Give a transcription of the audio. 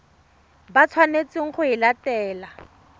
ba tshwanetseng go e latela